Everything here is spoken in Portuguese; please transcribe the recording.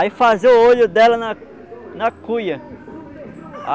Aí fazia o olho dela na na cuia.